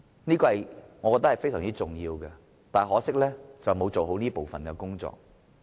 這點我認為是非常重要的，但可惜政府沒有做好這部分的工作。